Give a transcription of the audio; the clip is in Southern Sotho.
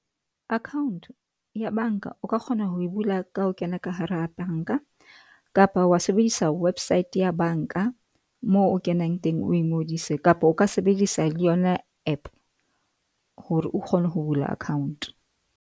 Account ya bank-a, o ka kgona ho e bula ka ho kena ka hara bank-a kapa wa sebedisa website ya bank-a moo o kenang teng, o ingodise kapa o ka sebedisa le yona app hore o kgone ho bula account.